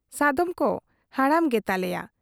ᱥᱟᱫᱚᱢ ᱠᱚ ᱦᱟᱲᱟᱢ ᱜᱮ ᱛᱟᱞᱮᱭᱟ ᱾